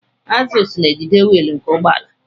Agzụls na-ejide wiili nke ụgbọala.